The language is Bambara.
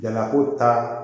Jalako ta